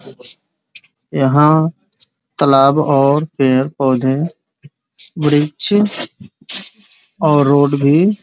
यहाँ तालाब और पेड़-पौधे वृक्ष और रोड भी --